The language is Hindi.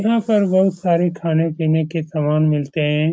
यहाँ पर बहुत सारे खाने-पीने के सामान मिलते हैं।